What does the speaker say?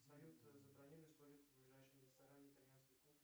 салют забронируй столик в ближайшем ресторане итальянской кухни